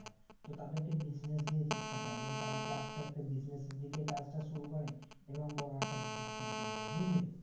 তো তাদেরকে business দিয়ে শিক্ষাটা এবং তারা কি আস্তে আস্তে business দিকে কাজটা শুরু করে এবং বড়ো একটা business man তৈরী হয় বুজলি